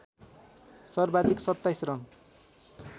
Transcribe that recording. सर्वाधिक २७ रन